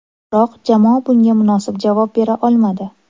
Biroq jamoa bunga munosib javob bera olmadi.